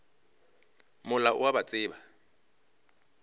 mola o a ba tseba